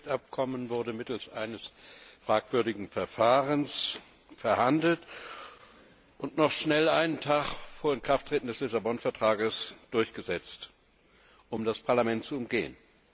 Das SWIFT Abkommen wurde mittels eines fragwürdigen Verfahrens verhandelt und noch schnell einen Tag vor Inkrafttreten des Vertrags von Lissabon durchgesetzt, um das Parlament zu umgehen.